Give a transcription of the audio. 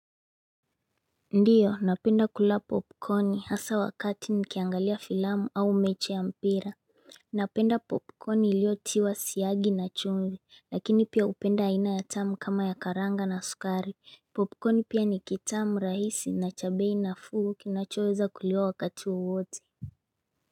Ndio napenda kula popcorn hasaa wakati nikiangalia filamu au mechi ya mpira Napenda popcorn iliotiwa siagi na chumvi lakini pia hupenda aina ya tamu kama ya karanga na sukari Popcorn pia ni kitamu rahisi na cha bei nafuu kinachoweza kuliwa wakati wowote.